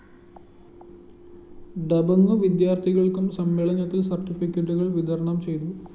ഡബഌൂ വിദ്യാര്‍ത്ഥികള്‍ക്കും സമ്മേളനത്തില്‍ സര്‍ട്ടിഫിക്കറ്റുകള്‍ വിതരണം ചെയ്തു